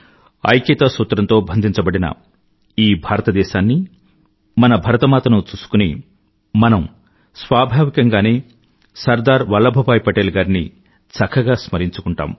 ఐక్యతా సూత్రంతో బంధించబడిన ఈ భారతదేశాన్నీ మన భరతమాతను చూసుకుని మనం స్వాభావికంగానే సర్దార్ వల్లభ్ భాయ్ పటేల్ గారిని చక్కగా స్మరించుకుంటాం